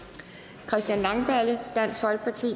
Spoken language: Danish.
christian langballe